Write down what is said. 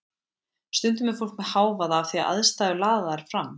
Stundum er fólk með hávaða af því að aðstæður laða þær fram.